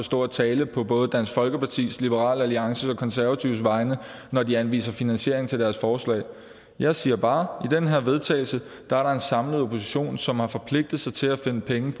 at stå og tale på både dansk folkepartis liberal alliances og konservatives vegne når de anviser finansiering til deres forslag jeg siger bare at den her vedtagelse er der en samlet opposition som har forpligtet sig til at finde pengene